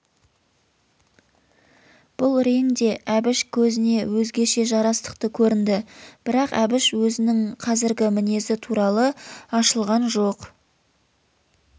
бұл рең де әбіш көзіне өзгеше жарастықты көрінді бірақ әбіш өзінің қазіргі мінезі туралы ашылған жоқ